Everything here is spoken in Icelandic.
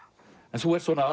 en þú ert svona